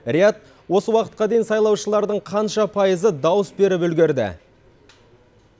рияд осы уақытқа дейін сайлаушылардың қанша пайызы дауыс беріп үлгерді